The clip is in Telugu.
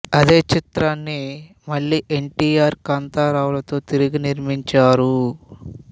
అదే చిత్రాన్ని మళ్ళీ ఎన్ టి ఆర్ కాంతారావులతో తిరిగి నిర్మించారు